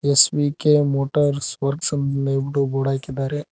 SVK motors works ಅಂತ ಹೇಳ್ಬಿಟು board ಹಾಕಿದ್ದಾರೆ.